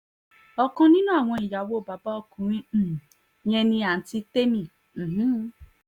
ọ̀kan nínú àwọn ìyàwó bàbá ọkùnrin um yẹn ni àǹtí tẹ̀mí um